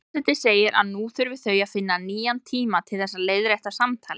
Forseti segir að nú þurfi þau að finna nýjan tíma til þess að leiðrétta samtalið.